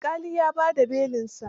Alƙalin ya ba da belinsa?